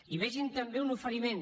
i vegin també un oferiment